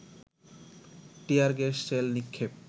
টিয়ার gas shell নিক্ষেপ